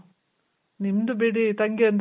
ನಿಮ್ದು ಬಿಡಿ ತಂಗಿ ಅಂದ್ರೆ